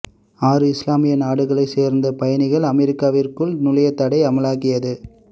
ஆறு இஸ்லாமிய நாடுகளை சேர்ந்த பயணிகள் அமெரிக்காவிற்குள் நுழைய தடை அமலாகியது